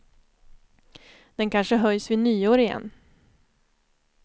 Den kanske höjs vid nyår igen.